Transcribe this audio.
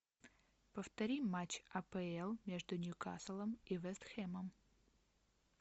повтори матч апл между ньюкаслом и вест хэмом